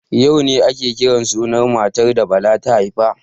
Yau ne ake kiran sunan matar da Bala ta haifa.